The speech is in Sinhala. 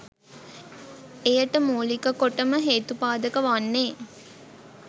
එයට මූලික කොටම හේතුපාදක වන්නේ